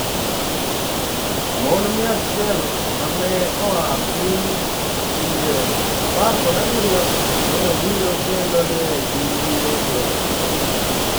Mon 100 ma ne oa e pinje 17 ne obiro kendo ne giyie gi wachno.